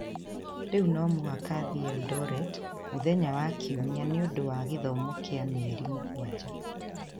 Rĩu no mũhaka thiĩ Eldoret mũthenya wa Kiumia nĩ ũndũ wa gĩthomo kĩa mĩeri mũgwanja.